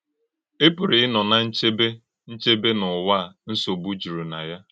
Ị Pụrụ Ịnọ ná Nchebé, Nchebé n’Ụ́wà a Nsọ̀gbú jùrù na Ya!